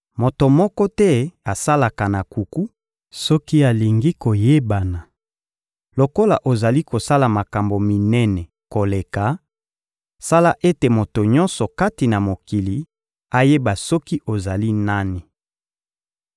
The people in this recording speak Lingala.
Moto moko te asalaka na nkuku soki alingi koyebana. Lokola ozali kosala makambo minene koleka, sala ete moto nyonso kati na mokili ayeba soki ozali nani.